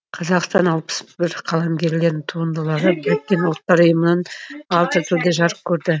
қазақстанның алпыс бір қаламгерінің туындылары біріккен ұлттар ұйымының алты тілде жарық көреді